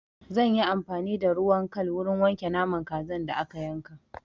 Zan yi amfani da ruwan kal wurin wanke naman kazan da aka yanka.